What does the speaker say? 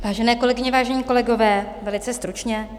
Vážené kolegyně, vážení kolegové, velice stručně.